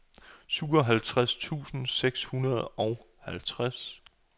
syvoghalvtreds tusind seks hundrede og halvtreds